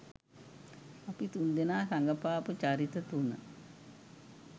අපි තුන්දෙනා රඟපාපු චරිත තුන